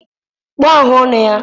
kpụọ afụ ọnụ ya.